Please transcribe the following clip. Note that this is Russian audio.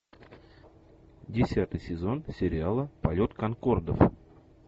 десятый сезон сериал полет конкордов